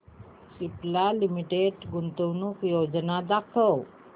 Cipla limited गुंतवणूक योजना दाखव